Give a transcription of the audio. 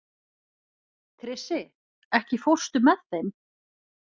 Krissi, ekki fórstu með þeim?